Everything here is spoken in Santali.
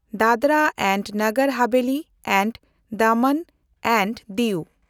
ᱫᱟᱫᱽᱨᱟ ᱮᱱᱰᱱᱚᱜᱚᱨ ᱦᱟᱵᱷᱮᱞᱤ ᱮᱱᱰ ᱫᱟᱢᱟᱱ ᱮᱱᱰ ᱫᱤᱭᱩ